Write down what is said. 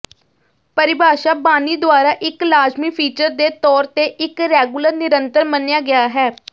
ਪਰਿਭਾਸ਼ਾ ਬਾਣੀ ਦੁਆਰਾ ਇੱਕ ਲਾਜ਼ਮੀ ਫੀਚਰ ਦੇ ਤੌਰ ਤੇ ਇੱਕ ਰੈਗੂਲਰ ਨਿਰੰਤਰ ਮੰਨਿਆ ਗਿਆ ਹੈ